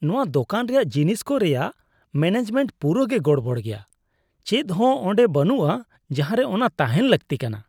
ᱱᱚᱶᱟ ᱫᱳᱠᱟᱱ ᱨᱮᱭᱟᱜ ᱡᱤᱱᱤᱥ ᱠᱚ ᱨᱮᱭᱟᱜ ᱢᱮᱱᱮᱡᱽᱢᱮᱱᱴ ᱯᱩᱨᱟᱹᱜᱮ ᱜᱚᱲᱵᱚᱲ ᱜᱮᱭᱟ ᱾ ᱪᱮᱫᱦᱚᱸ ᱚᱸᱰᱮ ᱵᱟᱹᱱᱩᱜᱼᱟ ᱡᱟᱦᱟᱸᱨᱮ ᱚᱱᱟ ᱛᱟᱦᱮᱱ ᱞᱟᱹᱠᱛᱤ ᱠᱟᱱᱟ ᱾